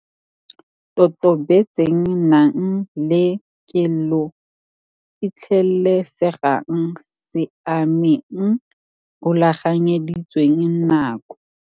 Totobetseng Nang le kelo Fitlhelesegang Siameng Rulaganyeditsweng nako.